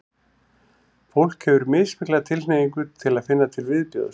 fólk hefur mismikla tilhneigingu til að finna til viðbjóðs